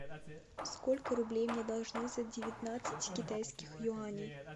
сколько рублей мне должны за девятнадцать китайских юаней